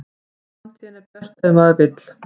Framtíðin er björt ef maður vill